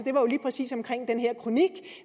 jo lige præcis omkring den her kronik